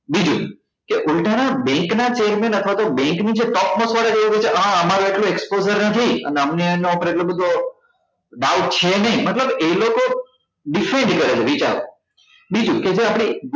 બીજું કે ઉલ્ટા ના bank ના statement અથવા તો bank ની જે છે હ અમારું એટલું exposure નથી અને અમને એના પર એટલો બધો doubt છે નઈ મતલબ એ લોકો કરે છે બીજું કે જે આપડે